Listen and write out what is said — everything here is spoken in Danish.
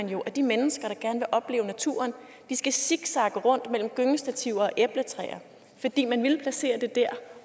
vi jo at de mennesker der gerne vil opleve naturen skal zigzagge rundt mellem gyngestativer og æbletræer fordi man ville placere det der